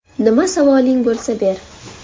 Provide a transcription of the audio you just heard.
Nima savoling bo‘lsa, ber.